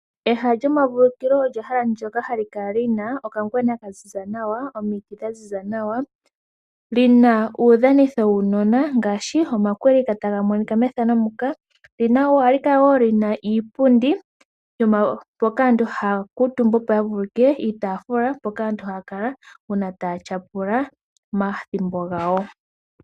Ehala lyomavulukilo olyo ehala ndyoka hali kala lina okangwena nomiti dhaziza nawa. Olina uudhanitho wuunona ngaashi omakwilika . Ohali kala wo lina iipundi mpoka aantu haya kuutumba opo yavulukilwe vulu niitafula mpoka aantu haya kala uuna taya tyapula omathimbo gawo.